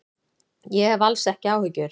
Ég hef alls ekki áhyggjur.